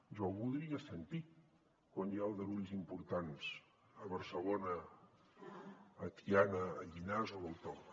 jo el voldria sentir quan hi ha aldarulls importants a barcelona a tiana a llinars o a l’autònoma